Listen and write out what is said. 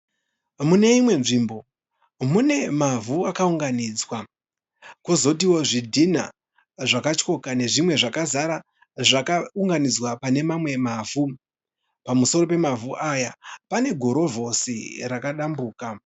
Muneimwe nzvimbo mune mavhu akaunganidzwa. Kuzotiwo zvidhina zvakatyoka nezvimwe zvakazara, zvakaunganidzwa pane mamwe mavhu, pamusoro pemavhu aya pane girovhosi rakadambuka.